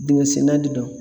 Dingɛsenna de don